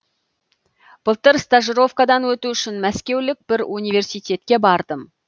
былтыр стажировкадан өту үшін мәскеулік бір университетке бардым